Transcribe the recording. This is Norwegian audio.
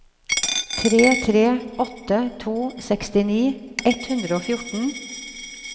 tre tre åtte to sekstini ett hundre og fjorten